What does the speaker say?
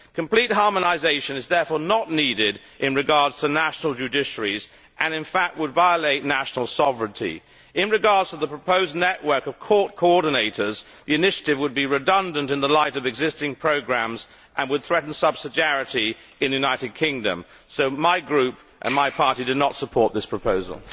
Complete harmonisation is therefore not needed with regard to national judiciaries and in fact would violate national sovereignty. With regard to the proposed network of court coordinators, the initiative would be redundant in the light of existing programmes and would threaten subsidiarity in the United Kingdom, so my Group and my party did not support this proposal.